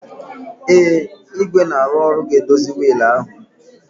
Ee, igwe na-arụ ọrụ ga-edozi wiil ahụ